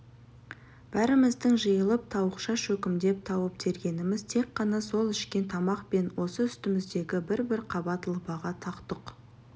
бәріміздің жиылып тауықша шөкімдеп тауып тергеніміз тек қана сол ішкен тамақ пен осы үстіміздегі бір-бір қабат лыпаға тақ-тұқ